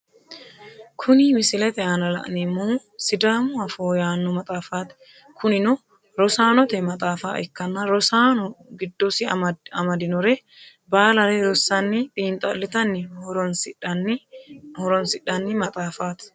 Kunni misilete aanna la'neemohu sidaamu afoo yaano maxaafaati. Kunnino rosaanote maxaafa ikanna rosaano gidosi amadinore baalare rosanni xiinxalitanni horoosidhani maxaafaati.